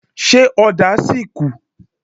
Ṣé ọ̀dà sì kù?